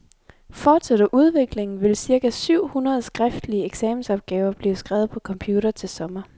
Fortsætter udviklingen, vil cirka syv hundrede skriftlige eksamensopgaver blive skrevet på computer til sommer.